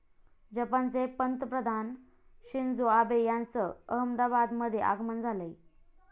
जपानचे पंतप्रधान Shinzo Abe यांचं अहमदाबादमध्ये आगमन झालंय.